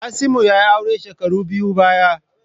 Kasimu ya yi aure shekaru biyun baya.